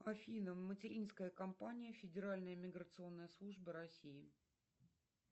афина материнская компания федеральная миграционная служба россии